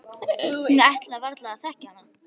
Hún ætlaði varla að þekkja hana.